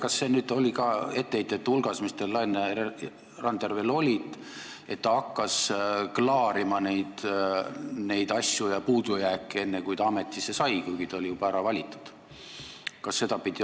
Kas see oli ka nende etteheidete hulgas, mis teil Laine Randjärvele olid, et ta hakkas neid asju ja puudujääke klaarima enne, kui ta ametisse sai, siis, kui ta oli juba ära valitud?